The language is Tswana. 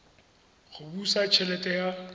go busa t helete ya